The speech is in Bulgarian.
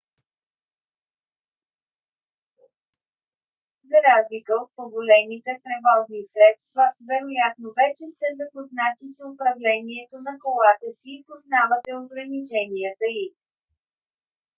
за разлика от по-големите превозни средства вероятно вече сте запознати с управлението на колата си и познавате ограниченията й